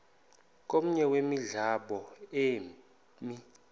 komnye wemilambo emi